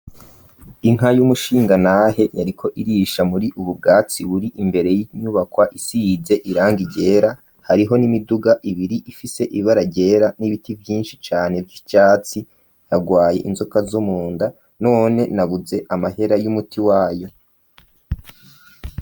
Inka y'umushingantahe yariko irisha muri ubu bwatsi buri imbere y'inyubakwa isize irangi ryera, hariho n'imiduga ibiri ifise ibara ryera n'ibiti vyinshi cane vy'icatsi, yagwaye inzoka zo mu nda none nabuze amahera y'umuti wayo.